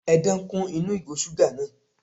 Edan kún inú ìgò suga náà.